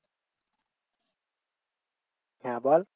হ্যাঁ বল